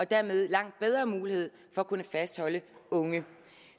dermed langt bedre mulighed for at kunne fastholde unge